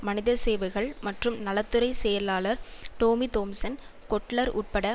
மனித சேவைகள் மற்றும் நல துறை செயலாளர் டோமி தோம்சன் கொட்லர் உட்பட